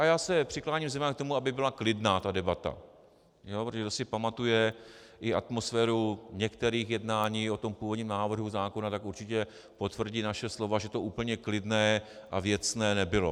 A já se přikláním zejména k tomu, aby byla klidná ta debata, protože kdo si pamatuje i atmosféru některých jednání o tom původním návrhu zákona, tak určitě potvrdí naše slova, že to úplně klidné a věcné nebylo.